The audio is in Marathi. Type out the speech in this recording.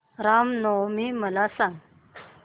राम नवमी मला सांग